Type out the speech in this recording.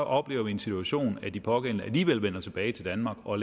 oplever en situation hvor de pågældende alligevel vender tilbage til danmark og